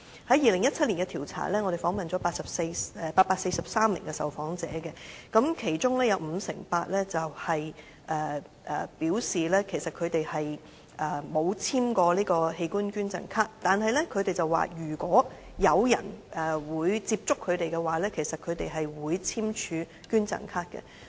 在2017年的調查中，我們訪問了843名受訪者，其中五成八表示，他們沒有簽署過器官捐贈卡，但他們表示，如果有人接觸他們的話，他們會簽署器官捐贈卡。